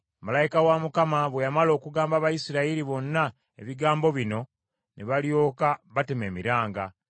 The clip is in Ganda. Malayika wa Mukama bwe yamala okugamba Abayisirayiri bonna ebigambo bino ne balyoka batema emiranga.